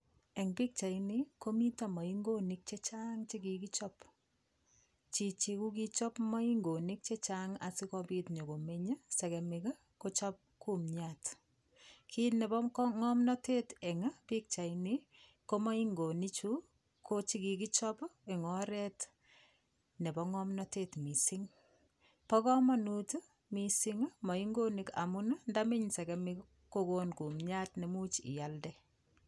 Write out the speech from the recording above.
Eng' pikchaini komito moingonik chechang' chekikichop chichi kikochop moingonik chechang' asikobit nyikomeny sekemik kochop kumyat kiit nebo ng'omnotet eng' pikchaini ko moingonichu ko chikikichop eng' oret nebo ng'omnotet mising' bo komonut mising' moingonik amun ndameny sekemik kokonu kumyat nemuuch ialde